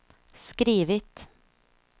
skrivit